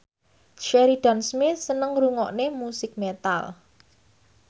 Sheridan Smith seneng ngrungokne musik metal